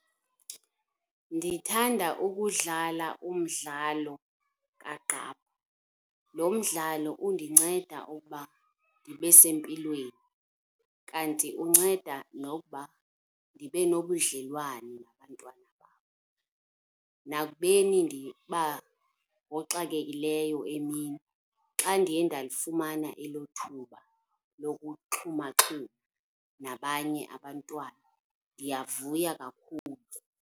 Ndithanda ukudlala umdlalo kagqaphu. Lo mdlalo undinceda ukuba ndibe sempilweni kanti unceda nokuba ndibe nobudlelwane nabantwana bam. Nakubeni ndiba ngoxakekileyo emini xa ndiye ndalifumana elo thuba lokuxhumaxhuma nabanye abantwana ndiyavuya kakhulu.